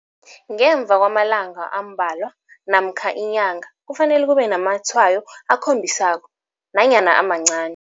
Ngemva kwamalanga ambalwa namkha inyanga kufanele kube namatshwayo akhombisako nanyana amancani.